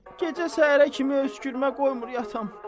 Gecə səhərə kimi öskürmə qoymur yatam.